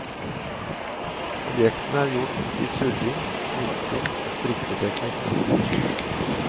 Objektene er gjort i surring, knytting og strikketeknikk.